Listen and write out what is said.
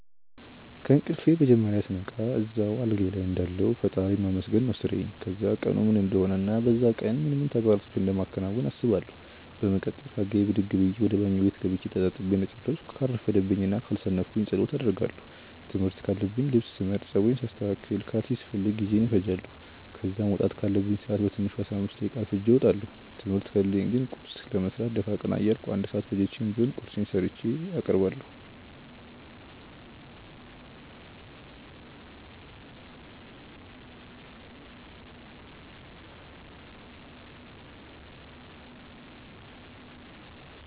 ከእንቅልፌ መጀመርያ ስነቃ እዛው አልጋዬ ልይ እንዳለሁ ፈጣሪን ማመስገን ነው ስራዬ። ከዛም ቀኑ ምን እንደሆነ እና በዛ ቀን ምን ምን ተግባራቶችን እንደማከናውን አስባለው። በመቀጠል ከአልጋዬ ብድግ ብዬ ወደ ባኞ ቤት ገብቼ ተጣጥቤ እንደጨረስኩ ካልረፈደብኝ እና ካልሰነፍኩ ጸሎት አደርጋለው። ትምህርት ካለኝ ልብስ ስመርጥ፣ ጸጉሬን ሳስተካክል፣ ካልሲ ስፈልግ ጊዜዬን እፈጃለው። ከዛ መውጣት ካለብኝ ሰአት በትንሹ 15 ደቂቃ አርፍጄ እወጣለው። ትምህርት ከሌለኝ ግን ቁርስ ለመስራት ደፋ ቀና እያልኩ 1 ሰአት ፈጅቼም ቢሆን ቁርሴን ሰርቼ አቀርባለሁ።